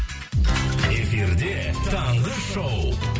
эфирде таңғы шоу